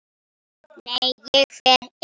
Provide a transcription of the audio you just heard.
Nei, ég fer einn!